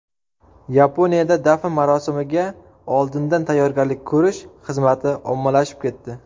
Yaponiyada dafn marosimiga oldindan tayyorgarlik ko‘rish xizmati ommalashib ketdi.